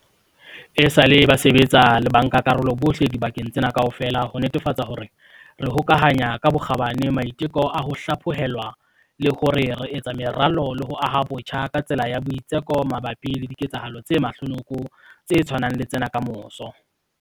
Esale ba sebetsa le bankakarolo bohle dibakeng tsena kaofela ho netefatsa hore re hokahanya ka bokgabane maiteko a ho hlaphohelwa le hore re etsa meralo le ho aha botjha ka tsela ya boitseko mabapi le diketsahalo tse mahlonoko tse tshwanang le tsena kamoso.